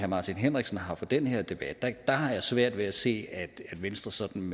martin henriksen har for den her debat har jeg svært ved at se venstre sådan